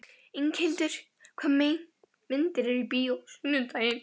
Inghildur, hvaða myndir eru í bíó á sunnudaginn?